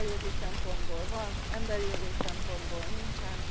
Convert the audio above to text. munkajogi szempontból van, emberi jogi szempontból nincsen.